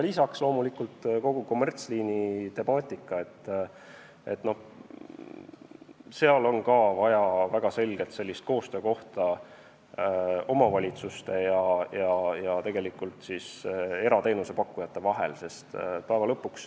Lisaks loomulikult kogu kommertsliini temaatika, mille puhul on ka vaja väga selget koostöökohta omavalitsuste ja erateenusepakkujate vahel.